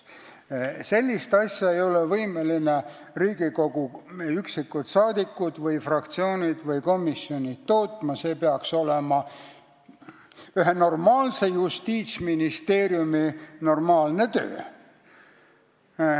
Sellist asja ei ole võimelised tootma üksikud Riigikogu liikmed, fraktsioonid või komisjonid, see peaks olema ühe normaalse Justiitsministeeriumi töö.